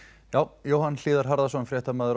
já Jóhann hlíðar Harðarson fréttamaður